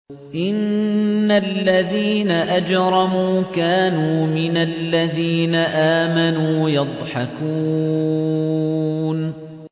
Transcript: إِنَّ الَّذِينَ أَجْرَمُوا كَانُوا مِنَ الَّذِينَ آمَنُوا يَضْحَكُونَ